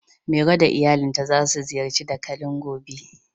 Mero da iyalinta za su ziyarci dakalin gobe.